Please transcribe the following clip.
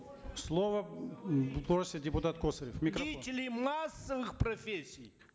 слово м просит депутат косарев микрофон деятели массовых профессий